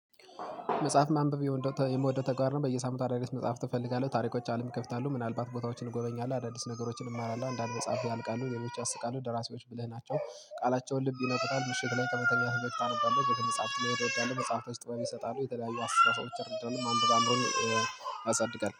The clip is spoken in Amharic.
መጽሐፍ ማንበብ የምወደው ተግባር በየሳምንቱ አዳዲስ መጽሐፍ አፈልጋለሁ ታሪኮች አለም ይከፍታሉ ምናልባት ቦታዎችን እጎበኛለሁ አዳዲስ ነገሮችን እማራለሁ እንዳልበጻፍኩ ያልቃሉ የመቼ አስቃሉ ደራሲዎች ብለህ ናቸው። ቃላቸውን ልብ ይነግሩታል ምሽት ላይ ከመተኛት ብ ታነባለህ የመጽሐፍት ልዩ ትወዳለህ መጽሐፍ ውስጥ ጥበብ ይሰጣሉ የተለያዩ አስራ ሰዎች አድርገን ማንበብ አምሮን አጸድቀን